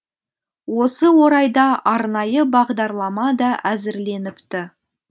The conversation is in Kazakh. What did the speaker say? осы орайда арнайы бағдарлама да әзірленіпті